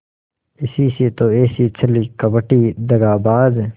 इसी से तो ऐसी छली कपटी दगाबाज